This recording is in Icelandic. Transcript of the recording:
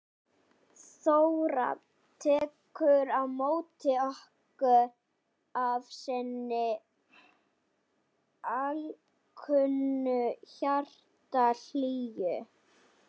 Þóra tekur á móti okkur af sinni alkunnu hjartahlýju.